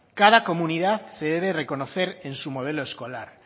cada comunidad se debe reconocer en su modelo escolar